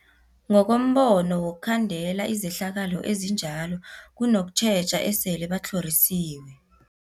Ngokombono wokhandela izehlakalo ezinjalo kunokutjheja esele batlhorisiwe.